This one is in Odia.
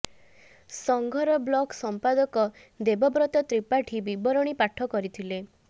ସଂଘର ବ୍ଲକ ସମ୍ପାଦକ ଦେବବ୍ରତ ତ୍ରିପାଠୀ ବିବରଣୀ ପାଠ କରିଥିଲେ